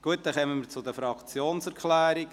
– Gut, wir kommen zu den Fraktionserklärungen.